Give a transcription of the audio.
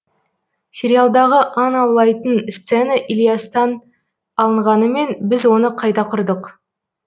сериалдағы аң аулайтын сцена ілиястан алынғанымен біз оны қайта құрдық